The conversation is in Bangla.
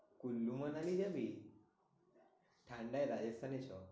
কুল্লু মানালি যাবি? ঠান্ডায় রাজস্থানে চো।